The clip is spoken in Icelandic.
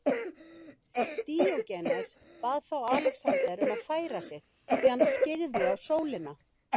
Díógenes bað þá Alexander um að færa sig því hann skyggði á sólina.